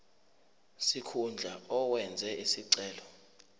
sikhundla owenze isicelo